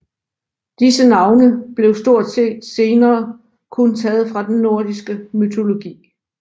Disse navne blev stort set senere kun taget fra den nordiske mytologi